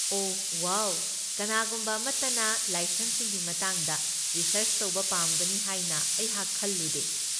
ꯑꯣꯍ wow, ꯀꯅꯥꯒꯨꯝꯕ ꯑꯃꯠꯇꯅ ꯂꯥꯏꯁꯪꯁꯤꯡꯒꯤ ꯃꯇꯥꯡꯗ ꯔꯤꯁꯔꯆ ꯇꯧꯕ ꯄꯥꯝꯒꯅꯤ ꯍꯥꯏꯅ ꯑꯩꯍꯥꯛ ꯈꯜꯂꯨꯗꯦ꯫